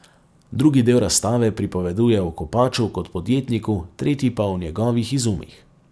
Drugi del razstave pripoveduje o Kopaču kot podjetniku, tretji pa o njegovih izumih.